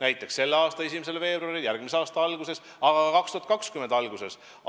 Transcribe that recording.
Tegime seda selle aasta 1. veebruaril ja teeme järgmise aasta alguses ja ka 2020. aasta alguses.